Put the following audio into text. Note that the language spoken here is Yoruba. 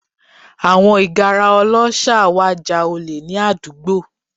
Àwọn ìgárá ọlọ́ṣà wá ja olè ní àdúgbò